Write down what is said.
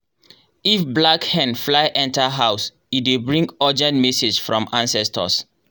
if black hen fly enter house e dey bring urgent message from ancestors.